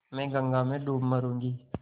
मैं गंगा में डूब मरुँगी